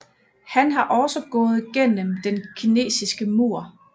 Han har også gået gennem Den Kinesiske Mur